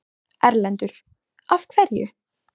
Erlendur: Af hverju?